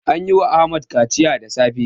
An yi wa Ahmad kaciya da safe.